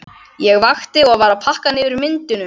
Ég vakti og var að pakka niður myndunum.